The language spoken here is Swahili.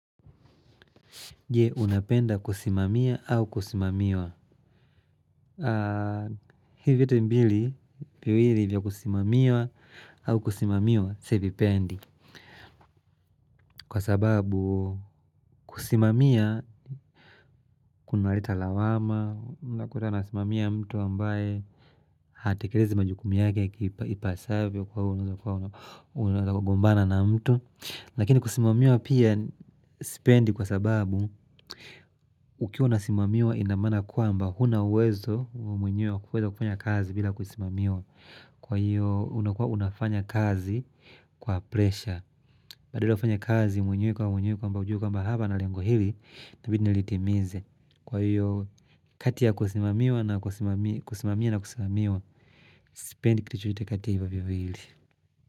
Je, unapenda kusimamia au kusimamiwa. Hivyo vyote mbili, viwili vya kusimamia au kusimamiwa, sivipendi. Kwa sababu kusimamia, kunaleta lawama, unakuta nasimamia mtu ambaye, hatekelezi majukumu yake ipasavyo kwa huru, unagombana na mtu. Lakini kusimamiwa pia sipendi kwa sababu ukiwa unasimamiwa ina maana ya kwamba huna uwezo mwenyewe wa kuweza kufanya kazi bila kusimamiwa. Kwa hiyo unakuwa unafanya kazi kwa presha. Badala ya kufanya kazi mwenyewe kwa mwenyewe kwamba ujue kwamba hapa na lengo hili itabidi nilitimize. Kwa hiyo kati ya kusimamia na kusimamiwa sipendi kitu chochote kati ya hivo viwili.